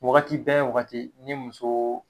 Wagati bɛɛ wagati ni musoo